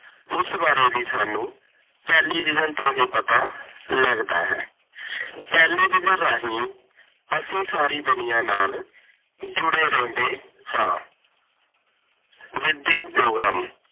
ਉਸ ਬਾਰੇ ਵੀ ਸਾਨੂੰ ਟੈਲੀਵਿਜ਼ਨ ਤੇ ਹੀ ਪਤਾ ਲੱਗਦਾ ਹੈ। ਟੈਲੀਵਿਜ਼ਨ ਰਾਹੀਂ ਅਸੀਂ ਸਾਰੀ ਦੁਨੀਆ ਨਾਲ ਜੁੜੇ ਰਹਿੰਦੇ ਹਾਂ। ਵਿੱਦਿਅਕ ਪ੍ਰੋਗਰਾਮ -